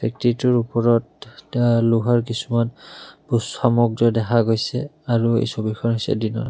ওপৰত লোহাৰ কিছুমান সামগ্ৰী দেখা গৈছে আৰু এই ছবিখন হৈছে দিনৰ।